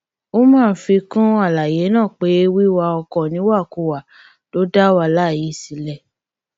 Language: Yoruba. umar fi kún àlàyé náà pé wíwa ọkọ níwàkuwà ló dá wàhálà yìí sílẹ